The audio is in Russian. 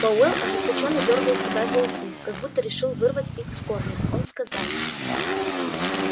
пауэлл ожесточённо дёргал себя за усы как будто решил вырвать их с корнем он сказал